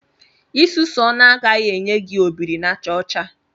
Isusu ọnụ agaghị enye gị obiri-na-aja ocha